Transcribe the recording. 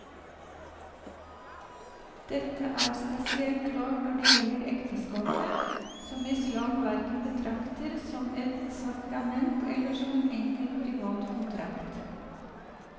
Dette er spesielt klart når det gjelder ekteskapet, som islam hverken betrakter som et sakrament eller som en enkel privat kontrakt.